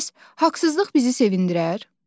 Bəs haqsızlıq bizi sevindirər?